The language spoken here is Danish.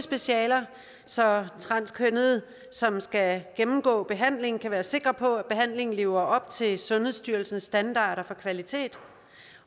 specialer så transkønnede som skal gennemgå en behandling kan være sikre på at behandlingen lever op til sundhedsstyrelsens standarder for kvalitet